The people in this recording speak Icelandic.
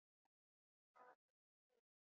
Aðeins þrír.